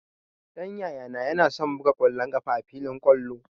Ɗan Yayana yana son buga ƙwallon ƙafa a filin kwallo